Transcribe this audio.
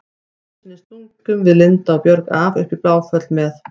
Einu sinni stungum við Linda og Björg af upp í Bláfjöll með